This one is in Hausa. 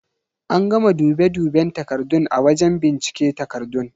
An gama dube duben takardun a wajen bincike takardun.